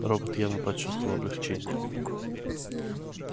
робот явно почувствовал облегчение